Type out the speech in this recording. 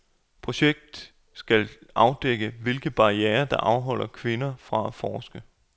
Projekt skal afdække hvilke barrierer der afholder kvinder fra at forske.